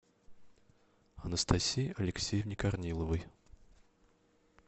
анастасии алексеевне корниловой